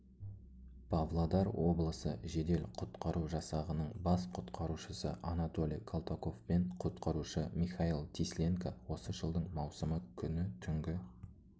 павлодар облысы жедел-құтқару жасағының бас құтқарушысы анатолий колтаковпен құтқарушы михаил тисленко осы жылдың маусымы күні түнгі